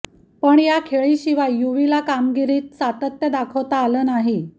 पण या खेळीशिवाय युवीला कामगिरीत सातत्य दाखवता आलं नाही